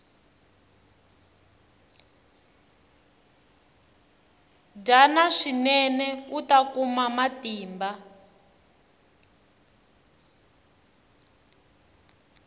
dyana swinene uta kuma matimba